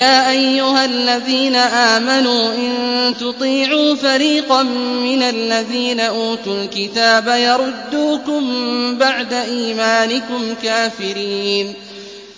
يَا أَيُّهَا الَّذِينَ آمَنُوا إِن تُطِيعُوا فَرِيقًا مِّنَ الَّذِينَ أُوتُوا الْكِتَابَ يَرُدُّوكُم بَعْدَ إِيمَانِكُمْ كَافِرِينَ